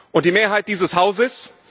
Und die Mehrheit dieses Hauses?